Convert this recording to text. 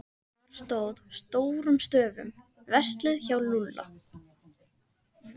Þar stóð stórum stöfum: Verslið hjá Lúlla.